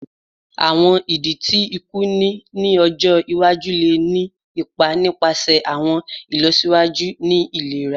Awọn idi ti iku ni ọjọ iwaju le ni ipa nipasẹ awọn ilọsiwaju ni ilera